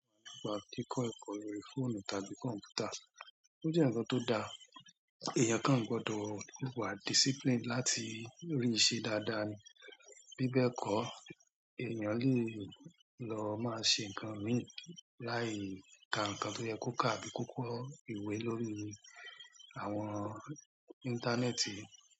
Kíkọ ẹ̀kọ́ lórí fóònù tàbí kọ̀m̀pútà, ó jẹ́ ǹkan tó da. Ẹ̀yàn kan gbọdọ̀ wà discipline láti rí i ṣe dáadáa ni. Bíbẹ́ kọ́, èèyàn lè lọ máa ṣe ǹkan mìíràn láì ka ǹkan tó yẹ kó kà àbí kókó ìwé lórí àwọn íńtánẹ́ẹ̀tì.